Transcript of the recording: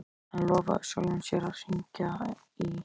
Hann lofaði sjálfum sér að hringja í